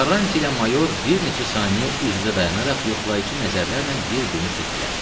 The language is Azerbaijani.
Karranti ilə mayor bir neçə saniyə üz-üzə dayanaraq yoxlayıcı nəzərlərlə bir-birini süzdülər.